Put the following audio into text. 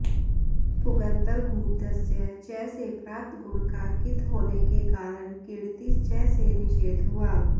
पुगन्तलघूपधस्य च से प्राप्त गुण का कित् होने के कारण क्ङिति च से निषेध हुआ